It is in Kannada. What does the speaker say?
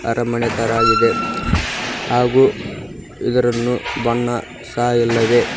ಅರಮನೆ ತರ ಆಗಿದೆ ಹಾಗು ಇದರನ್ನು ಬಣ್ಣ ಸ ಇಲ್ಲವೇ--